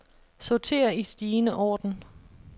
Sorter i stigende orden.